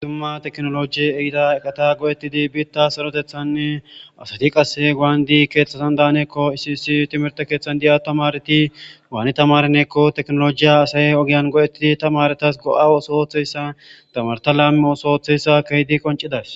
Zuma teknoloji ehida ekata go'ettidi biitta sorotethanne asati qasse gaandi keeththasan daaneekko isisi timirte keeththan di'a tamareti waani tamaranekko teknolojiya asaye ogiyan go'ettidi tamaretas go'a oso hoththeyssa tamarta laame oso ooththeyssa keydi qoncidas.